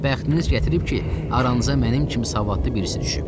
Bəxtiniz gətirib ki, aranıza mənim kimi savadlı birisi düşüb.